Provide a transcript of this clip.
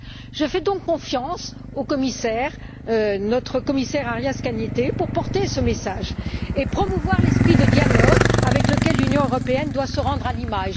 Je fais donc confiance à notre commissaire, M. Arias Cañete, pour porter ce message et promouvoir l'esprit de dialogue avec lequel l'Union européenne doit se rendre à Lima.